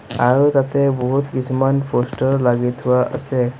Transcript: আৰু তাতে বহুত কিছুমান প'ষ্টাৰো লাগি থোৱা আছে।